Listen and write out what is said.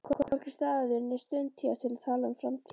Hvorki staður né stund hér til að tala um framtíðina.